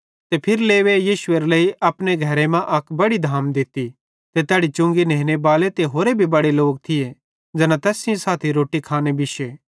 ते फिरी लेवी यीशुएरे लेइ अपने घरे अक बड़ी धाम दित्ती ते तैड़ी चुंगी नेनेबाले ते होरे भी बड़े लोक थिये ज़ैना तैस सेइं साथी रोट्टी खाने बिश्शे